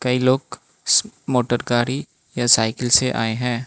ये लोग मोटर गाड़ी या साइकिल से आए हैं।